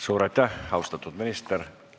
Suur aitäh, austatud minister!